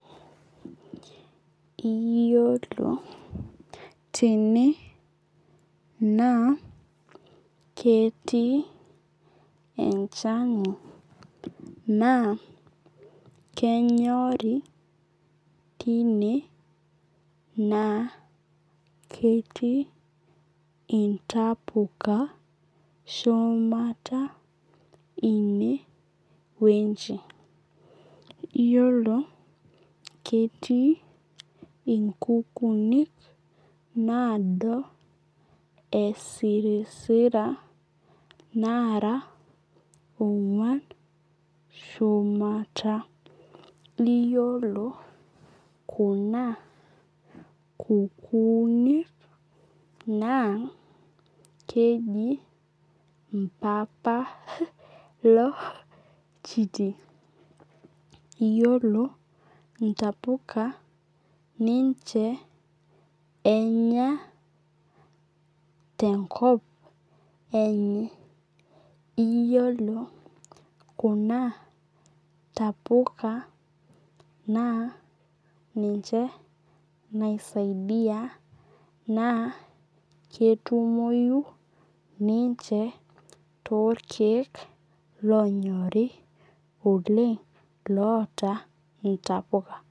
Iyiolo tene naa ketii enchani naa kenyorii time naa ketii intapuka shumata ineweji. Iyiolo ketii inkukunik nado esirisira nara onguan shumata. Iyiolo kuna kukunik naa keji mpapa loo iljiti. Iyiolo ntapuka ninche enya tenkop enye. Iyiolo kuna tapuka ninche nai saidia naa ketumoi ninche too ilkeek lonyorii loontapuka.